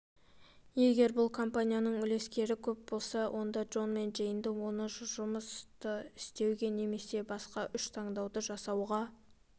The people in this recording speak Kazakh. егер бұл компанияның үлескерлері көп болса онда джон мен джейнді осы жұмысты істеуге немесе басқа үш таңдауды жасауға